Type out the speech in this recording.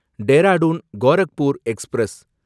Dehradun Gorakhpur express